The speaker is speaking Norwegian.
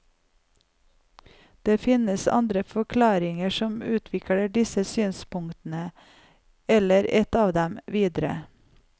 Det finnes andre forklaringer som utvikler disse synspunktene, eller et av dem, videre.